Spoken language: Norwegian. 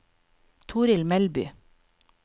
Toril Melby